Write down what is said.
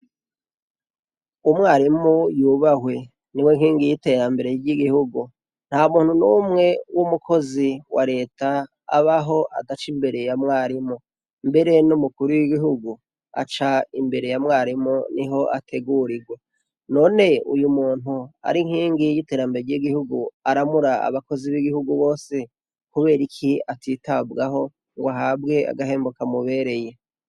Umwarimu yubahwe niwe nkingi yiterambere ryigihugu ntamuntu numwe wumukozi wa reta abaho adaciye imbere ya mwarimu mbere numukuru wigihugu aca imbere ya mwarimu niho ategurirwa none uyumuntu ari inkingi yiterambere ryigihugu aramura abakozi bigihugu bose kuberiki atitabwaho ngo ahabwe agahembo kamubereye